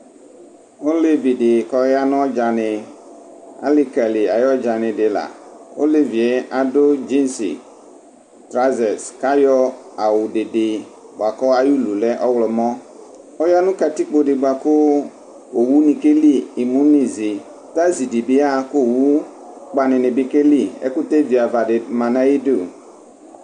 Ɔlevi di k'ɔya n'ɔdza ni ali ka lɩ any'ɔdzani di la Olevie adu dzize trazɛs k'ayɔ awu dede bua kɔ ayulu lɛ ɔwlɔmo ɔya nu katikpo di bua ku owu ni keli imu n'izi Tazi di bi yaɣa k'owu kpa ni ni bi ke li Ekute vi ava di ma nayi du